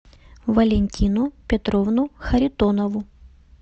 валентину петровну харитонову